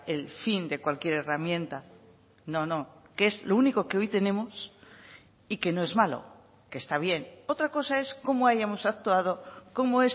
el fin de cualquier herramienta no no que es lo único que hoy tenemos y que no es malo que está bien otra cosa es cómo hayamos actuado cómo